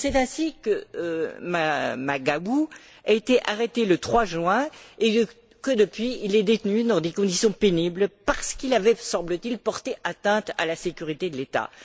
C'est ainsi que Maguwu a été arrêté le 3 juin et, qu'il est, depuis lors, détenu dans des conditions pénibles parce qu'il avait, semble t il, porté atteinte à la sécurité de l'État.